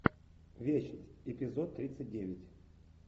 вещь эпизод тридцать девять